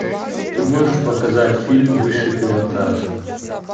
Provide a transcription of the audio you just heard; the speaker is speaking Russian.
ты можешь показать фильм высший пилотаж